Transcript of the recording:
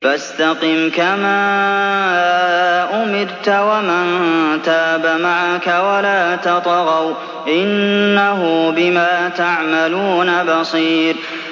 فَاسْتَقِمْ كَمَا أُمِرْتَ وَمَن تَابَ مَعَكَ وَلَا تَطْغَوْا ۚ إِنَّهُ بِمَا تَعْمَلُونَ بَصِيرٌ